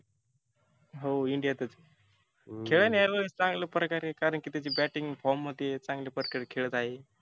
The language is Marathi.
हो India तच आहे खेळन ह्या वेळेस चांगल्या प्रकारे कारण की त्याची batting form मध्ये आहे. चांगल्या प्रकारे खेळत आहे.